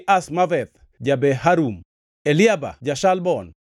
Azmaveth ja-Beharum, Eliaba ja-Shalbon,